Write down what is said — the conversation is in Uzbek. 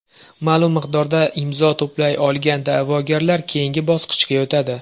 Ma’lum miqdorda imzo to‘play olgan da’vogarlar keyingi bosqichga o‘tadi.